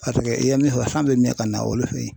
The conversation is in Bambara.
Paseke i ye min fɔ san bɛ miyɛn ka na olu fɛ.